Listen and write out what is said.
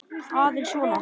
Aðeins svona.